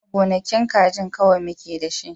A'a, gonakin kaji kawai muke da shi.